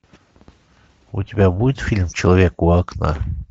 у тебя будет фильм человек у окна